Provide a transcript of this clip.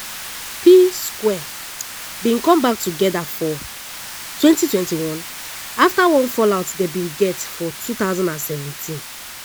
p-square bin come back togeda for 2021 afta one fall out dem bin get for 2017.